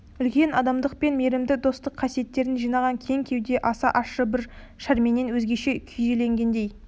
үлкен адамдық пен мейірімді достық қасиеттерін жиған кең кеуде аса ащы бір шерменен өзгеше күйзелгендей